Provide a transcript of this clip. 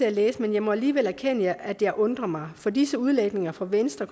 at læse men jeg må alligevel erkende at jeg undrer mig for disse udlægninger fra venstre